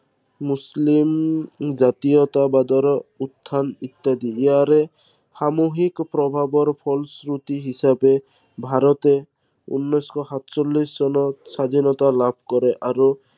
মুছলিম জাতীয়তাবাদৰ উত্থান ইত্য়াদি। ইয়াৰে সামূহিক প্ৰভাৱৰ ফলশ্ৰুতি হিচাপে, ভাৰতে উনৈশ শ সাতচল্লিশ চনত স্বাধীনতা লাভ কৰে।